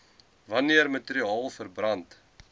wanneer materiaal verbrand